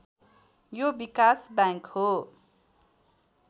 यो विकास बैङ्क हो